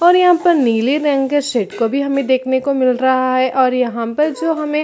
और यहाँ पर नीले रंग के शिप को भी हमें देखने को मिल रहा है और यहाँ पर जो हमें--